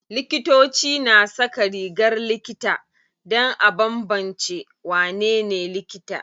Likitoci na saka rigar likita dan a banbance wanene likita.